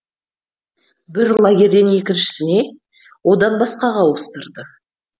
бір лагерден екіншісіне одан басқаға ауыстырды